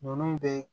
Ninnu bɛɛ